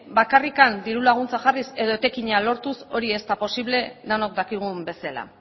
bakarrik diru laguntzak jarriz edo etekina lortuz hori ez da posible denok dakigun bezala